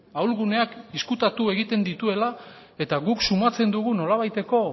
ahulguneak ezkutatu egiten dituela eta guk sumatzen dugu nolabaiteko